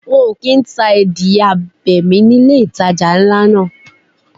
Wọn kò kín ta adìẹ abẹ̀mí ni ilé ìtajà ńlá náà.